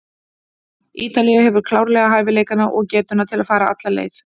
Ítalía hefur klárlega hæfileikana og getuna til að fara alla leið.